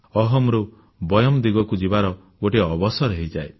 ଅହମ୍ ରୁ ବୟମ୍ ଦିଗକୁ ଯିବାର ଗୋଟିଏ ଅବସର ହୋଇଯାଏ